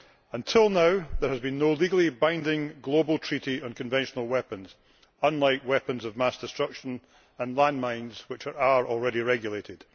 Until now, there has been no legally binding global treaty on conventional weapons, unlike weapons of mass destruction and landmines, which are already regulated.